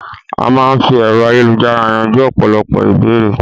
A máa n fí ẹ̀rọ ayélujára yanjú ọ̀pọ̀lọpọ̀ ìbéèrè